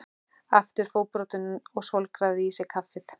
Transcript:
Aftur fótbrotinn og svolgraði í sig kaffið.